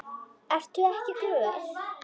Ertu ekki glöð?